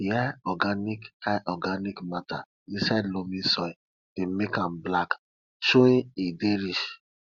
di high organic high organic matter inside loamy soil dey make am black showing e dey rich